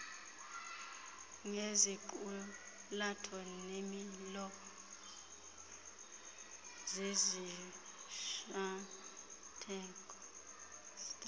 ngeziqulatho neemilo zezishwankathelo